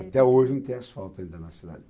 Até hoje não tem asfalto ainda na cidade.